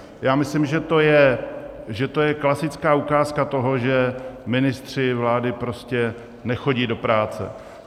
Já myslím, že to je klasická ukázka toho, že ministři vlády prostě nechodí do práce.